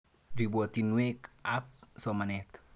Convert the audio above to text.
Ripotisyek ap somanet.